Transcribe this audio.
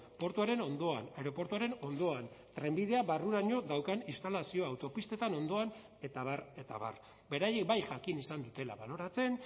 portuaren ondoan aireportuaren ondoan trenbidea barruraino daukan instalazio autopistetan ondoan eta abar eta abar beraiek bai jakin izan dutela baloratzen